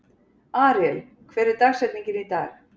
Aríel, hver er dagsetningin í dag?